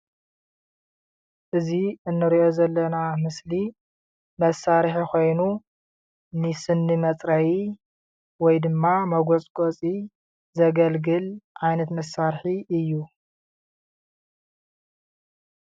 እዚ እንሪኦ ዘለና ምስሊ መሳርሒ ኮይኑ ን ስኒ መፅረዪ ወይ ድማ መጎፅጎጺ ዘገልግል ዓይነት መሳርሒ እዩ::